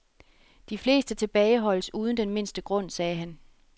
De fleste tilbageholdes uden den mindste grund, sagde han.